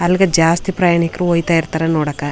ಅಲ್ಲಿಗೆ ಜಾಸ್ತಿ ಪ್ರಯಾಣಿಕರು ಹೋಯ್ತ ಇರ್ತಾರೆ ನೋಡಕೆ --